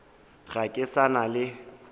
ga ke sa na le